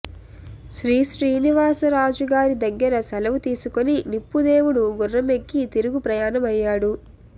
శ్రీశ్రీనివాసరాజుగారి దగ్గర సెలవు తీసుకొని నిప్పుదేవుడు గుర్రమెక్కి తిరుగు ప్రయాణం అయ్యాడు